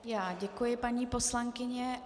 Já děkuji, paní poslankyně.